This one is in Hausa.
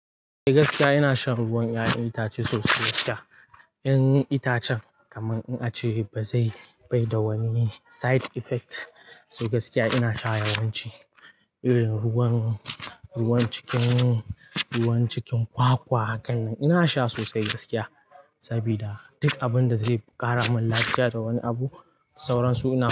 Gaskiya ina shan ruwan 'ya'yan itace sosai gaskiya. 'Yan itacen kaman in ace ba zai bai da wani side effect. So gaskiya ina sha yawanci irin ruwan, ruwan cikin, ruwan cikin kwakwa hakan nan ina sha sosai gaskiya. Sabida duk abinda zai ƙara mun lafiya da wani abu sauransu ina.